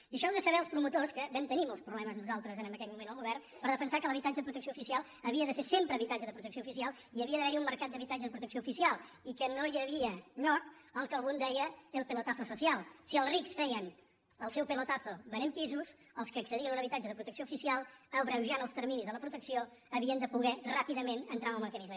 i en això heu de saber els promotors que vam tenir molts problemes nosaltres en aquell moment el govern per defensar que l’habitatge de protecció oficial havia de ser sempre habitatge de protecció oficial i havia d’haver hi un mercat d’habitatge de protecció oficial i que no hi havia lloc al que algú en deia el pelotazo social si els rics feien el seu pelotazo venent pisos els que accedien a un habitatge de protecció oficial abreujant els terminis de la protecció havien de poder ràpidament entrar en el mecanisme